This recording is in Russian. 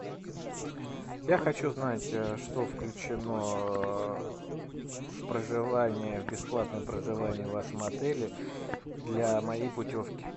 я хочу знать что включено в проживание в бесплатное проживание в вашем отеле для моей путевки